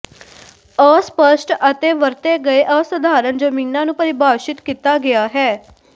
ਅਸਪਸ਼ਟ ਅਤੇ ਵਰਤੇ ਗਏ ਅਸਾਧਾਰਣ ਜਮੀਨਾਂ ਨੂੰ ਪਰਿਭਾਸ਼ਿਤ ਕੀਤਾ ਗਿਆ ਹੈ